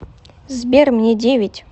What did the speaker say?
сбер мне девять